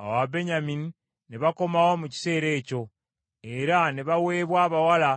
Awo Ababenyamini ne bakomawo mu kiseera ekyo, era ne baweebwa abawala